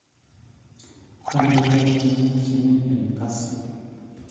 kandoi ap tyong'ig che mi eng' kasyu